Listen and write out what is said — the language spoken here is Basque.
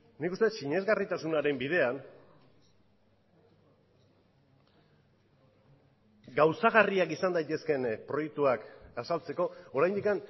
nik uste dut sinesgarritasunaren bidean gauzagarriak izan daitezkeen proiektuak azaltzeko oraindik